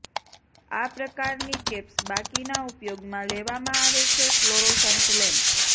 આ પ્રકારની કેપ્સ બાકીના ઉપયોગમાં લેવામાં આવે છે ફ્લોરોસન્ટ લેમ્પ